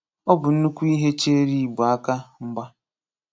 Ọ bụ́ nnukwu ihe chèéré Ìgbò àkà mgba.